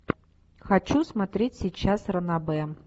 хочу смотреть сейчас ранобэ